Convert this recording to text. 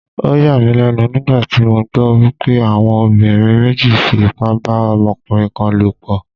Ó yà mí lẹ́nu nígbà tí mo gbọ́ wípé àwọn obìnrin méjì fi ipá bá ọmọkùnrin kan lò pọ̀.